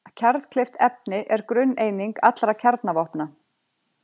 Kjarnkleyft efni er grunneining allra kjarnavopna.